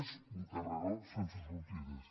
és un carreró sense sortides